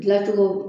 Dilancogo